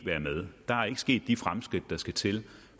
være med der er ikke sket de fremskridt der skal til